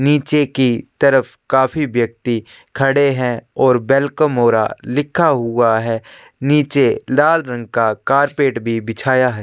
नीचे की तरफ काफी व्यक्ति खड़े हैं और वेलकम होरा लिखा हुआ है नीचे लाल रंग का कारपेट भी बिछाया है।